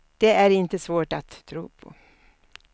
Det är inte svårt att tro på.